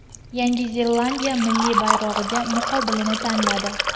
Yangi Zelandiya milliy bayrog‘iga muqobilini tanladi.